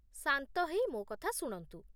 ଶାନ୍ତ ହେଇ ମୋ କଥା ଶୁଣନ୍ତୁ